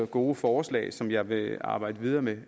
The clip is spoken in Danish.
gode forslag som jeg vil arbejde videre med